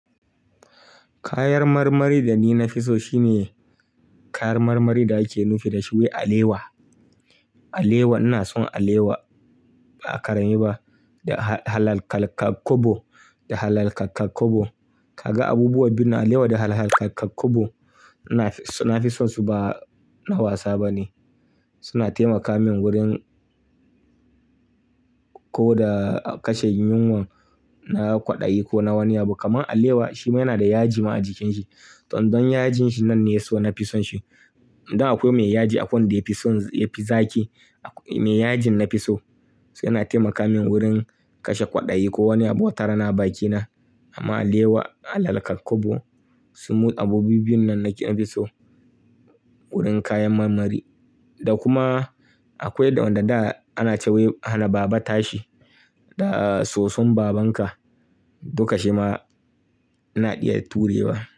Kayar marmari da ni na fi so shine kayar marmari da ake nufi da shi wai alewa. Alewa ina son alewa ba a karami ba. Da halal kakakobo, da halal kakakobo. Kaga abubuwa biyun alewa da halal kakakobo na fi na fi son su ba na wasa ba ne. Suna taimaka min wurin ko da kashe yunwan, na kwaɗayi ko na wani abu. Kaman alewa shi ma yana da yaji ma a jikin shi. Dan don yajin shi nan ne ya so na fi son shi. Dan akwai mai yaji a kwanda yafi son yafi zaƙi. Mai yajin na fi so. Su yana taimaka min wurin kashe kwaɗayi ko wani abu wata rana a bakina. Amma alewa da halal kakakobo su mu abubuwa biyun nan nake na fi so wurin kayan marmari. Da kuma akwai da wanna da ana cewa hana baba tashi da soson babanka. Duka shi ma na iya ture wa.